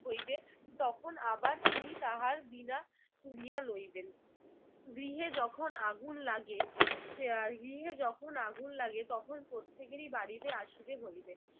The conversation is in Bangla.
হইবে তখন আবার তিনি তাহার বীণা তুলিয়া লইবেন। গৃহে যখন আগুন লাগে আহ গৃহে যখন আগুন লাগে তখন প্রত্যেকেরই বাড়িতে আসিতে হইবে।